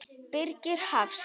Birgir Hafst.